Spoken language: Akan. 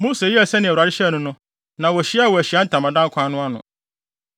Mose yɛɛ sɛnea Awurade hyɛɛ no no, na wohyiaa wɔ Ahyiae Ntamadan kwan no ano.